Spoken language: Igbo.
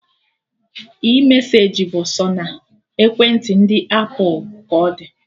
iMeseji bụ sọ na ekwentị ndị apụl ka ọ dị